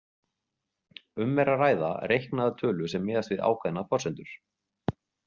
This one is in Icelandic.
Um er að ræða reiknaða tölu sem miðast við ákveðnar forsendur.